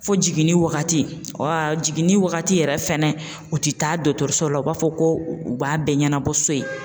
Fo jiginni wagati jiginni wagati yɛrɛ fɛnɛ u ti taa dɔgɔtɔrɔso la u b'a fɔ ko u b'a bɛɛ ɲɛnabɔ so yen.